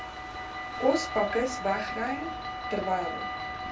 kospakkes wegry terwyl